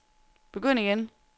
begynd igen